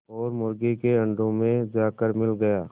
और मुर्गी के अंडों में जाकर मिल गया